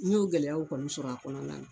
N y'o gɛlɛyaw kɔni sɔrɔ a kɔnɔna na